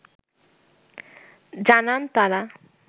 জানান তারা